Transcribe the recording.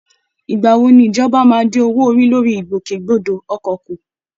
Ìgbà wo ni ìjọba máa dín owó orí lórí ìgbòkègbodò ọkọ̀ kù?